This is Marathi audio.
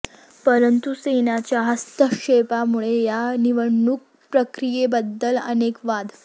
परंतु सैन्याच्या हस्तक्षेपामुळे या निवडणूक प्रक्रियेबद्दल अनेक वाद